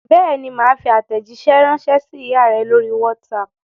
Bẹ́ẹ̀ ni, mà á fi àtẹ̀jíṣẹ́ ránṣẹ́ sí ìyá rẹ lórí WhatsApp.